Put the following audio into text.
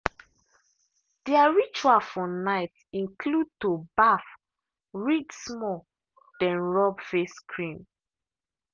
their ritual for night include to baff read small then rub face cream.